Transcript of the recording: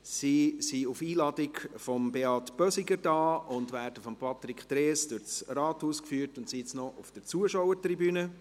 Sie ist auf Einladung von Beat Bösiger hier, wird von Patrick Trees durch das Rathaus geführt und ist nun noch auf der Zuschauertribüne.